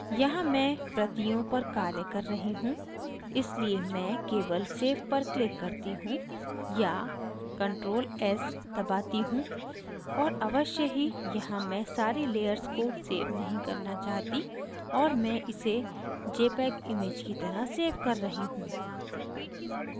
यहाँ मैं प्रतियों पर ctrl कर रही हूँ इसलिए मैं केवल save पर click करती हूँ या ctrl + s दबाती हूँ और अवश्य ही यहाँ मैं सारी layers को सेव नहीं करना चाहती और मैं इसे jpeg image की तरह सेव कर रही हूँ